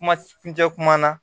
Kuma kuncɛ kuma na